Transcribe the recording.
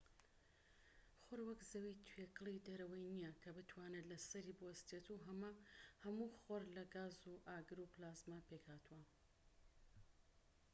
خۆر وەک زەوی توێکڵی دەرەوەی نیە کە بتوانیت لەسەری بوەستیت هەموو خۆر لە گاز و ئاگر و پلازما پێکهاتووە